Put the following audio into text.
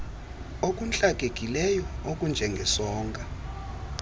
okuntlakekileyo okunje ngesonka